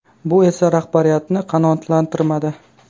Bu esa rahbariyatni qanoatlantirmadi.